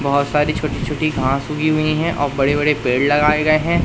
बहोत सारी छोटी छोटी घास उगी हुई हैं और बड़े बड़े पेड़ लगाए गए हैं।